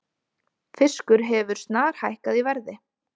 Fiskur hefur snarhækkað í verði